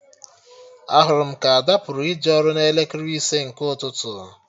Ahụrụ m ka Ada pụrụ ije ọrụ n'elekere ise nke ụtụtụ